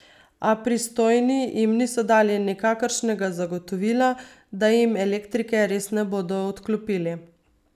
A pristojni jim niso dali nikakršnega zagotovila, da jim elektrike res ne bodo odklopili.